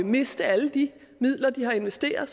miste alle de midler de har investeret